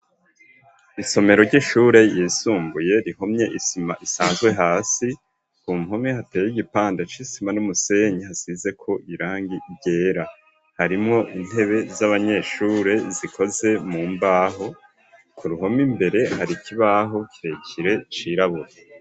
Isomero ry'ishure ryisumbuye rihomye isima isanzwe hasi ku mpome hateye igipande c'isima n'umusenyi hasizeko irangi ryera harimwo intebe z'abanyeshure zikoze mu mbaho ku ruhome imbere hari ikibaho kirekire cirabura.